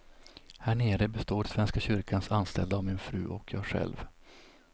Härnere består svenska kyrkans anställda av min fru och jag själv.